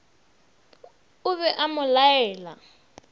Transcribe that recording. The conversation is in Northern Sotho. o be a mo laela